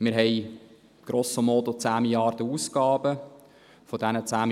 Wir haben grosso modo Ausgaben in der Höhe von 10 Mrd. Franken.